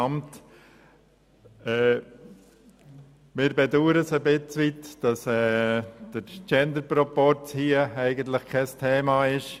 Wir bedauern etwas, dass der Genderproporz hier kein Thema ist.